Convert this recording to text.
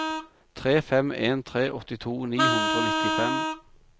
tre fem en tre åttito ni hundre og nittifem